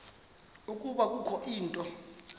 ukuba kukho into